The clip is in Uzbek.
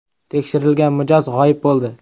“Tekshirilgan” mijoz g‘oyib bo‘ldi.